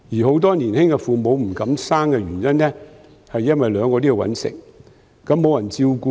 很多年輕父母不敢生育，因為兩人也要謀生，沒有人照顧子女。